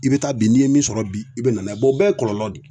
I be taa bi n'i ye min sɔrɔ bi, i be na n'a ye o bɛɛ ye kɔlɔlɔ de ye.